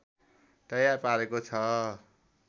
तयार पारेको छ